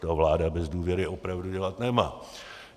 To vláda bez důvěry opravdu dělat nemá.